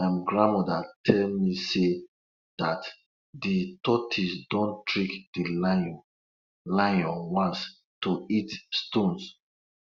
my grandmother tell me sey dat de tortoise don trick de lion lion once to eat stones